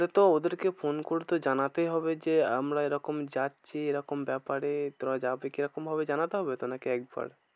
তাহলে তো ওদের কে ফোন করতে জানাতে হবে যে আমরা এরকম যাচ্ছি এরকম ব্যাপারে এরকম ভাবে জানাতে হবে তো? নাকি একবার।